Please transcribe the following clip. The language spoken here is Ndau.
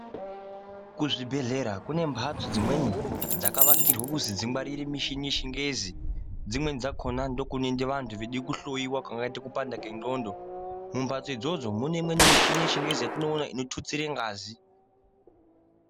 Kuzvibhedhlera kune mbatso dzimweni dzakavakirwa kuzi dzingwarire mishini yechingezi, dzimweni dzakona ndokunoende vanhu veide kuhloiwa kungaite kupanda kwendxondo, mumbatso idzodzo mune imweni mishini yechingezi yatinoona inototsire ngazi.